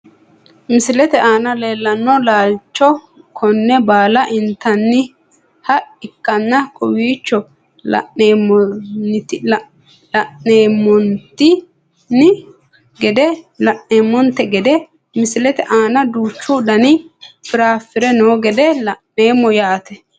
Misilete aana leelano laalicho kone baala intaniha ikana kowiicho laneemonteni gede misilete aana duuchu dani firafire noo gede laneemo yaate.